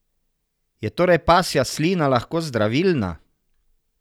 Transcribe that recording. Je torej pasja slina lahko zdravilna?